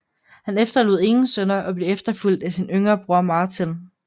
Han efterlod ingen sønner og blev efterfulgt af sin yngre bror Martin